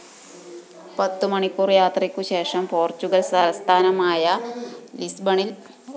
പത്തു മണിക്കൂര്‍ യാത്രയ്ക്കു ശേഷം പോര്‍ച്ചുഗല്‍ തലസ്ഥാനമായ ലിസ്ബണില്‍